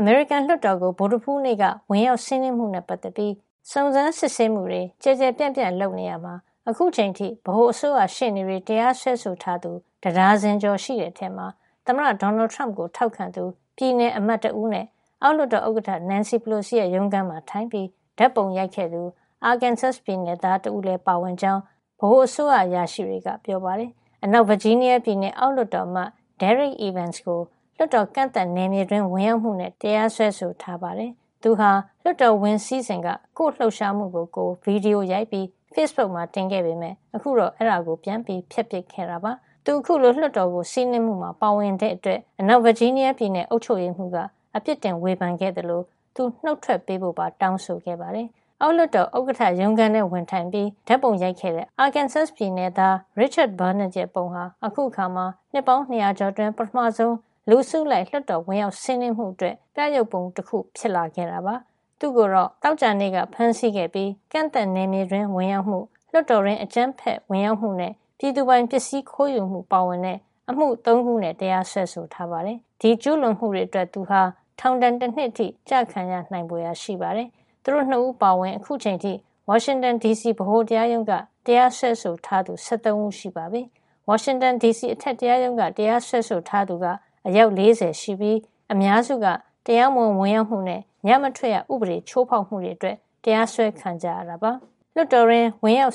အမေရိကန်လွှတ်တော်ကို ဗုဒ္ဓဟူးနေ့က ဝင်ရောက်စီးနင်းမှုနဲ့ ပတ်သက်ပြီး စုံစမ်းစစ်ဆေးမှုတွေ ကျယ်ကျယ်ပြန့်ပြန့် လုပ်နေရာမှာ အခုချိန်အထိ ဗဟိုအစိုးရရှေ့နေတွေ တရားစွဲဆိုထားသူ တဒါဇင်ကျော်ရှိတဲ့အထဲမှာ သမ္မတ Donald Trump ကို ထောက်ခံသူ ပြည်နယ်အမတ်တဦးနဲ့ အောက်လွှတ်တော် ဥက္ကဋ္ဌ Nancy Pelosi ရုံးခန်းမှာထိုင်ပြီး ဓာတ်ပုံရိုက်ခဲ့သူ Arkansas ပြည်နယ်သား တဦးတို့လည်း ပါဝင်ကြောင်း ဗဟိုအစိုးရ အရာရှိတွေက ပြောပါတယ်။ အနောက်ဗာဂျီးနီးယားပြည်နယ် အောက်လွှတ်တော်အမတ် Derrick Evans ကို လွှတ်တော် ကန့်သတ်နယ်မြေတွင်း ဝင်ရောက်မှုနဲ့ တရားစွဲဆိုထားပါတယ်။ သူဟာ လွှတ်တော်ဝင်စီးစဉ်က ကိုယ့်လှုပ်ရှားမှုကိုကိုယ် ဗွီဒီယိုရိုက်ပြီး ဖေ့စ်ဘုတ်မှာ တင်ခဲ့ပေမယ့် ခုတော့ အဲဒါကို ပြန်ဖျက်ပစ်ခဲ့တာပါ။ သူ အခုလို လွှတ်တော်ကို စီးနင်းမှုမှာ ပါဝင်တဲ့အတွက် အနောက်ဗာဂျီးနီးယားပြည်နယ် အုပ်ချုပ်ရေးမှူးက အပြစ်တင် ဝေဖန်ခဲ့သလို သူနုတ်ထွက်ပေးဖို့ပါ တောင်းဆိုခဲ့ပါတယ်။ အောက်လွှတ်တော်ဥက္ကဋ္ဌ ရုံးခန်းထဲ ဝင်ထိုင်ပြီး အခန့်သား ဓာတ်ပုံရိုက်ခဲ့တဲ့ Arkansas နယ်သား Richard Barnett ရဲ့ပုံဟာ အခုအခါမှာ နှစ်ပေါင်း ၂၀၀ ကျော်အတွင်း ပထမဆုံး လူအစုလိုက် လွှတ်တော်ဝင်ရောက်စီးနင်းမှုအတွက် ပြယုဂ်ပုံတခု ဖြစ်ခဲ့တာပါ။ သူ့ကိုတော့ Arkansas ပြည်နယ် Little Rock မှာ သောကြာနေ့က ဖမ်းဆီးခဲ့ပြီး ကန့်သတ်နယ်မြေတွင်း ဝင်ရောက်မှု၊ လွှတ်တော်တွင်း အကြမ်းဖက်ဝင်ရောက်မှုနဲ့ ပြည်သူပိုင်ပစ္စည်း ခိုးယူမှု ပါဝင်တဲ့ အမှု ၃ ခုနဲ့ တရားစွဲဆိုထားပါတယ်။ ဒီကျူးလွန်မှုတွေအတွက် သူဟာ ထောင်ဒဏ် တနှစ်အထိ ကျခံရနိုင်ဖွယ်ရာ ရှိပါတယ်။ သူတို့ ၂ ဦး အပါအဝင် အခုချိန်အထိ ဝါရှင်တန်ဒီစီ ဗဟိုတရားရုံးက တရားစွဲဆိုထားသူ ၁၃ ဦးရှိပြီဖြစ်ပါတယ်။ ဝါရှင်တန်ဒီစီ အထက်တရားရုံးက တရားစွဲဆိုထားသူက အယောက် ၄၀ ရှိပြီး အများစုက တရားမဝင် ဝင်ရောက်မှုနဲ့ ညမထွက်ရဥပဒေ ချိုးဖောက်မှုတွေနဲ့ တရားစွဲခံရတာ ဖြစ်ပါတယ်။ လွှတ်တော်တွင်း